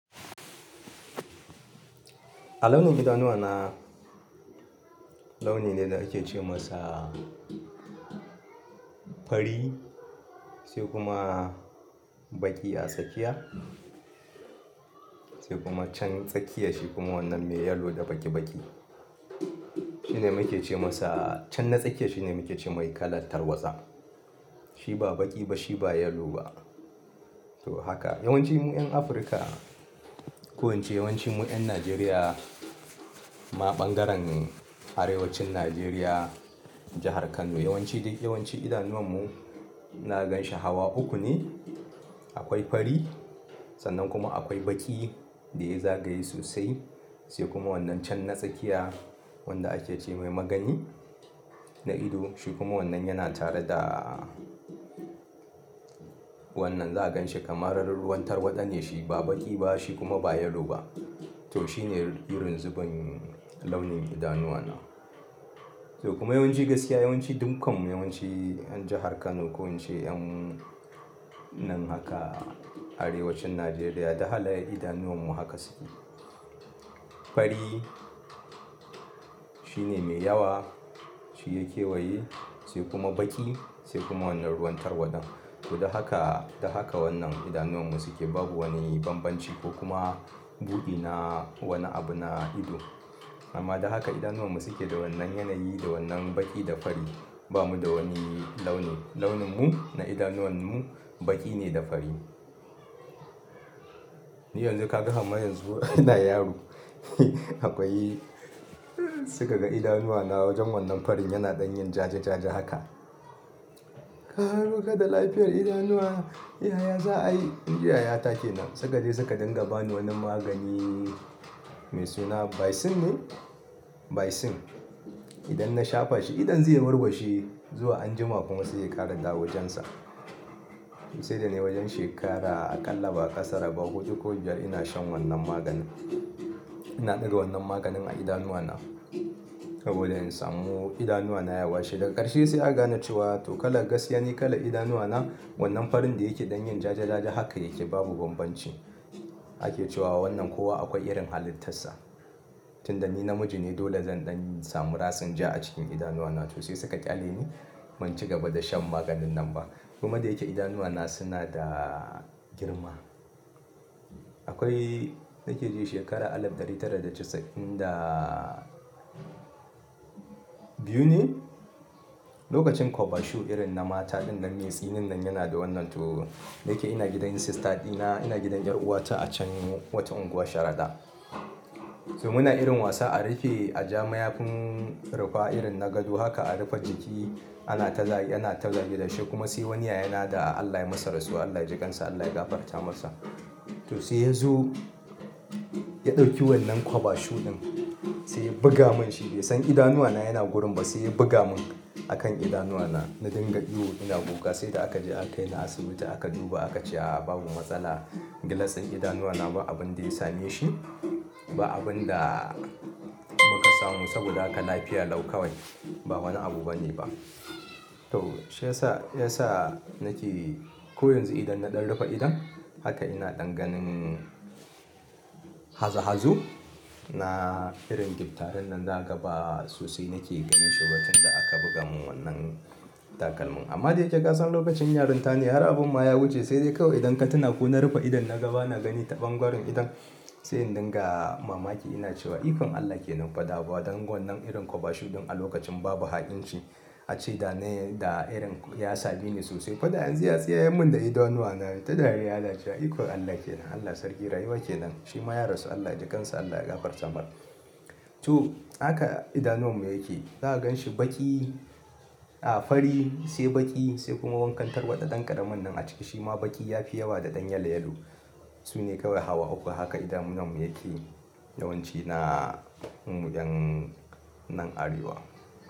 A launin idanuwana, launi ne da ake ce masa fari sai kuma baƙi a tsakiya sai kuma can tsakiya shi kuma wannan mai yellow da baƙi baƙi. Shi ne muke ce masa-- can na tsakiya shi ne muke ce mai kalan tarwatsa. Shi ba baƙi ba, shi ba yellow ba. To haka yawanci mu 'yan Afirka, ko ince yawanci mu 'yan Najeriya ma ɓangaren Arewacin Najeriya, jahar Kano. Yawanci dai yawanci idanuwan mu na ganshi hawa uku ne. Akwai fari sannan kuma akwai baƙi da ya zagaye sosai. Sai kuma wannan can na tsakiya wanda ake ce mai magani na ido. Shi kuma wannan yana tare da wannan za a ganshi kamar ruwan tarwaɗa ne shi. Ba baƙi ba, shi kuma ba yellow ba. To shi ne irin zubin launin idanuwana. To kuma yawanci gaskiya yawanci dukkan mu yawanci 'yan jahar Kano ko ince 'yan nan haka Arewacin Najeriya duk halaye idanuwan mu haka suke. Fari shi ne mai yawa. Shi ya kewaye sai kuma baƙi sai kuma wannan ruwan tarwaɗan. To, da haka, da haka wannan idanuwan mu suke babu wani banbanci ko kuma buɗi na wani abu na ido. Amma da haka idanuwan mu suke da wannan yanayi da wannan baƙi da fari. Ba mu da wani launi. Launinmu na idanuwanmu baƙi ne da fari. Ni yanzu ka ga har ma yanzu ina yaro. Akwai-- suka ga idanuwana wajen wannan farin yana ɗan yin jaja jaja haka. Ka baka da lafiyar idanuwa. Iya ya za a yi? Inji yaya ta kenan. Suka je suka dinga ba ni wani magani mai suna Baisin ne? Baisin. Idan na shafa shi, idon zai warwashe zuwa anjima kuma sai ya ƙara dawo jansa. Sai da nay wajen shekara aƙalla ba a kasara ba hudu ko biyar ina shan wannan maganin. Ina ɗiga wannan maganin a idanuwana saboda in samu idanuwana ya washe. Daga ƙarshe sai aka gane cewa to kala gaskiya ni kalan idanuwana wannan farin da yake ɗan yin jaja jaja haka yake babu banbanci. Ake cewa wannan kowa akwai irin halittarsa. Tunda ni namiji ne dole zan ɗan samu ratsin ja a cikin idanuwana. To sai suka ƙyale ni ban ci gaba da shan maganin nan ba. Kuma da yake idanuwana suna da girma. Akwai na ke ji shekara alif ɗari tara da casa'in da biyu ne? Lokacin kwaba shu irin na mata ɗinnan mai tsinin nan yana da wannan. To, da yake ina gidan sister ɗina. Ina gidan 'yar uwata a can wata unguwa Sharaɗa. To muna irin wasa a riƙe a ja mayafin rufa irin na gado haka a rufe jiki. Ana ta za-- yana ta zagi da shi kuma sai wani ya yana da Allah ya yi masa rasuwa, Allah ya ji kansa, Allah ya gafarta masa. To sai ya zo ya ɗauki wannan kwaba shu ɗin sai ya buga mun shi. Bai san idanuwana yana wurin ba sai ya buga mun a kan idanuwana. Na dinga ihu ina kuka sai da aka je aka kai ni asibiti aka duba aka ce a a babu matsala glass ɗin idanuwana ba abin da ya sameshi, ba abin da muka samu saboda haka lafiya lau kawai. Ba wani abu bane ba. To shi ya sa, ya sa na ke ko yanzu idan na ɗan rufe idon haka ina ɗan ganin hazo hazo. Na irin gyptaren nan zaka ga ba g sosai na ke ganin shi ba tunda aka buga mun wannan takalmin. Amma da yake lokacin yarinta ne har abin ma ya wuce sai dai kawai idan ka tuna ko na rufe idon na ga ba na gani taɓangaran idon. Sai in dinga mamaki ina cewa ikon Allah ke nan fa bada ban wannan irin kwaba shu ɗin a lokacin babu ha'inci ace dana da irin ya same ni sosai. Fa da yanzu fa ya tsiyayan mun da idanuwana in ta dariya ina cewa ikon Allah kenan. Allah sarki rayuwa ke nan. Shi ma ya rasu Allah ya ji kansa Allah ya gafarta masa. To haka idanuwan mu yake. Za a ganshi baƙi, a fari sai baƙi sai kuma wankan tarwaɗa. Dan ƙaramin nan a ciki shi ma baƙi ya fi yawa da ɗan yalo yalo. Su ne kawai hawa uku. Haka idanuwanmu yake yawanci na mu 'yan nan Arewa.